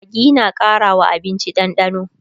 maggi na Karawa abinci dandano